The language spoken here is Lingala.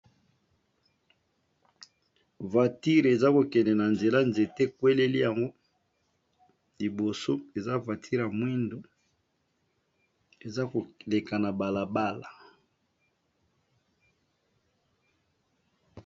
Vature eza kokende na nzela nzete ekweleli yango liboso, eza vautire ya mwindo eza koleka na balabala.